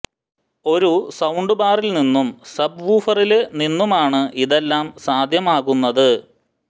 ഒരു സൌണ്ട് ബാറില് നിന്നും സബ് വൂഫറില് നിന്നുമാണ് ഇതെല്ലാം സാധ്യമാകുന്നത്